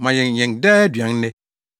Ma yɛn, yɛn daa aduan nnɛ,